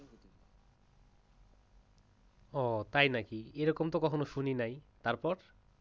ও তাই নাকি এরকম তো কখনো শুনি নাই। তারপর,